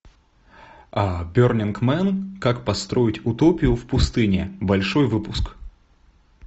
бернинг мэн как построить утопию в пустыне большой выпуск